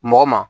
Mɔgɔ ma